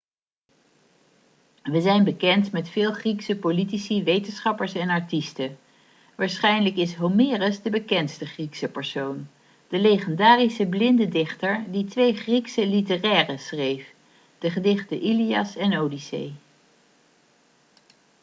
we zijn bekend met veel griekse politici wetenschappers en artiesten waarschijnlijk is homerus de bekendste griekse persoon de legendarische blinde dichter die twee griekse literaire schreef de gedichten ilias en odyssee